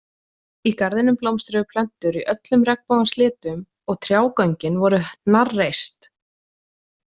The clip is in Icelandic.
Í garðinum blómstruðu plöntur í öllum regnbogans litum og trjágöngin voru hnarreist.